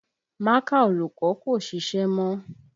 Mákà olùkọ́ kò ṣiṣẹ́ mọ́